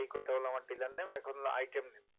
এই কয়টা হলো আমার dealer name এখন হলো item name